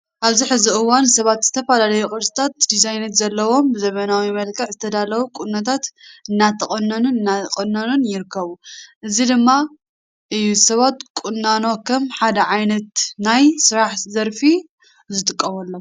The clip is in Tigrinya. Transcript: ኣብዚ ሕዚ እዋን ሰባት ዝተፈላለዩ ቅርፅታትን ድዛይናትን ዘለዉዎም ብዘመናዊ መልክዕ ዝዳለው ቁነታት እናተቆነኑን እናቆነኑን ይርከቡ። ነዚ ድማ እዩ ሰባት ቆናኖ ከም ሓደ ዓይነት ናይ ስራሕ ዘርፊ ዝጥቀምሎም።